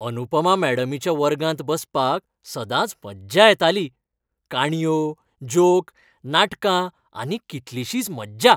अनुपमा मॅडमीच्या वर्गांत बसपाक सदांच मज्जा येताली. काणयो, जोक, नाटकां आनी कितलिशीच मज्जा!